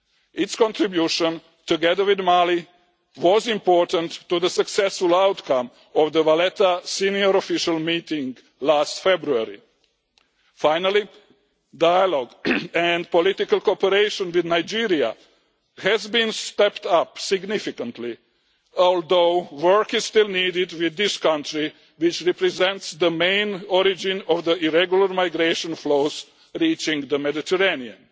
Its contribution, together with Mali, was important to the successful outcome of the Valletta senior official meeting last February. Finally, dialogue and political cooperation with Nigeria has been stepped up significantly, although work is still needed with this country which represents the main origin of the irregular migration flows reaching the Mediterranean.